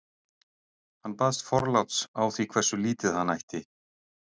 hann baðst forláts á því hversu lítið hann ætti